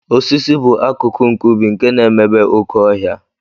Osisi bụ akụkụ nke ubi nke na-emebe oké ọhịa